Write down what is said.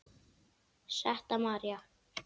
Setta María.